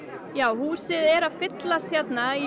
húsið er að fyllast hérna í